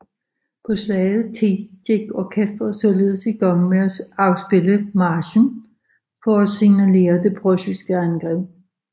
På salget ti gik orkesteret således i gang med at afspille marchen for at signalere det preussiske angreb